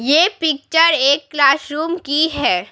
ये पिक्चर एक क्लासरूम की है।